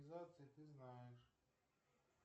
ты знаешь